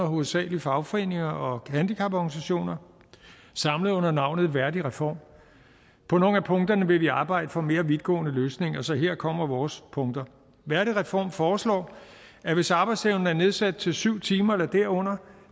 hovedsagelig fagforeninger og handicaporganisationer og samlet under navnet værdigreform på nogle af punkterne vil vi arbejde for mere vidtgående løsninger så her kommer vores punkter værdigreform foreslår at hvis arbejdsevnen er nedsat til syv timer eller derunder